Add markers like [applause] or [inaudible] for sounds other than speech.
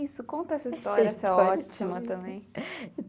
Isso, conta essa história, [unintelligible] essa história é ótima também.